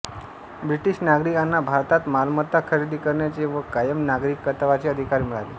British नागरिकांना भारतात मालमत्ता खरेदी करण्याचे व कायम नागरिकत्वाचे अधिकार मिळाले